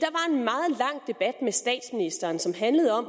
s